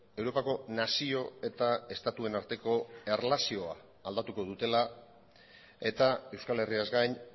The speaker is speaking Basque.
europako nazio eta estatuen arteko erlazioa aldatuko dutela eta euskal herriaz gain